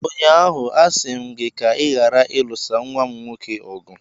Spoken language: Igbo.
Ụnyaahụ, a sị m gị ka ị ghara ịlụsa nwa m nwoke ọgụ!